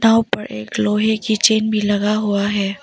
नाव पर एक लोहे की चैन भी लगा हुआ है।